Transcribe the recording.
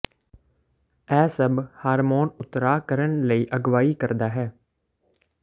ਇਹ ਸਭ ਹਾਰਮੋਨ ਉਤਰਾਅ ਕਰਨ ਲਈ ਅਗਵਾਈ ਕਰਦਾ ਹੈ